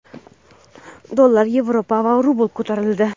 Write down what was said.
Dollar, yevro va rubl ko‘tarildi.